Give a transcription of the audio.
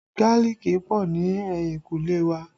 Gálíìkì pọ̀ ní ehinkule wa